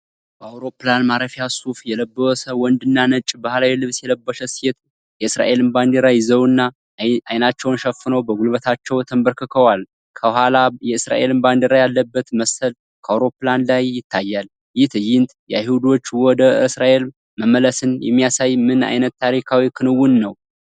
በአውሮፕላን ማረፊያ፣ ሱፍ የለበሰ ወንድና ነጭ ባህላዊ ልብስ የለበሰች ሴት፣ የእስራኤልን ባንዲራ ይዘውና አይናቸውን ሸፍነው በጉልበታቸው ተንበርክከዋል። ከኋላ የእስራኤል ባንዲራ ያለበት መሰላል ከአውሮፕላን ላይ ይታያል። ይህ ትዕይንት የአይሁዶች ወደ እስራኤል መመለስን የሚያሳይ ምን ዓይነት ታሪካዊ ክንውን ነው?